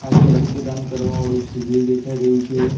આ એક રક્તદાન કરવા વાળું શિબિર દેખાઈ રહ્યું છે.